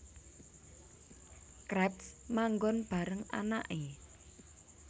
Krabs manggon bareng anake